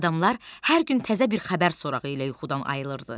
Adamlar hər gün təzə bir xəbər sorağı ilə yuxudan ayılırdı.